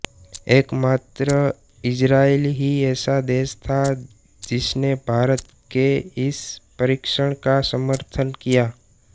एकमात्र इजरायल ही ऐसा देश था जिसने भारत के इस परीक्षण का समर्थन किया